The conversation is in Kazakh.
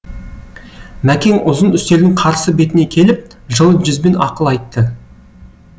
мәкең ұзын үстелдің қарсы бетіне келіп жылы жүзбен ақыл айтты